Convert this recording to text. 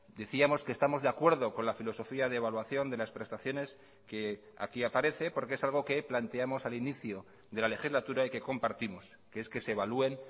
decíamos que estamos de acuerdo con la filosofía de evaluación de las prestaciones que aquí aparece porque es algo que planteamos al inicio de la legislatura y que compartimos que es que se evalúen